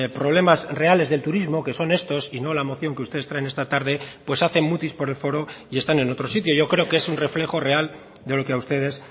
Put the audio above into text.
problemas reales del turismo que son estos y no la moción que ustedes traen esta tarde pues hacen mutis por el foro y están en otro sitio yo creo que es un reflejo real de lo que a ustedes